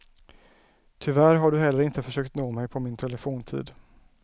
Tyvärr har du heller inte försökt nå mig på min telefontid.